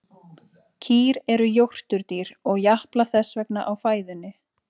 Kýr eru jórturdýr og japla þess vegna á fæðunni.